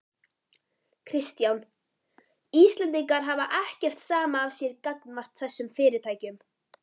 Kristján: Íslendingar hafa ekkert samið af sér gagnvart þessum fyrirtækjum?